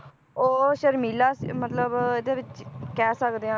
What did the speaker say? ਉਹ ਸ਼ਰਮੀਲਾ ਮਤਲਬ ਇਹਦੇ ਵਿਚ ਕਹਿ ਸਕਦੇ ਹਾਂ